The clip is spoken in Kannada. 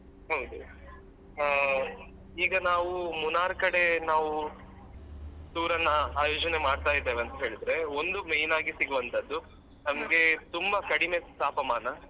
ಹೌದು ಹಾ ಈಗ ನಾವು Munnar ಕಡೆ ನಾವು tour ಅನ್ನ ಆಯೋಜನೆ ಮಾಡ್ತಾ ಇದ್ದೇವೆ ಅಂತ್ ಹೇಳಿದ್ರೆ ಒಂದು main ಆಗಿ ಸಿಗುವಂತದ್ದು ನಮ್ಗೆ ತುಂಬ ಕಡಿಮೆ ತಾಪಮಾನ.